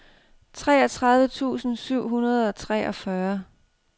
treogtredive tusind syv hundrede og treogfyrre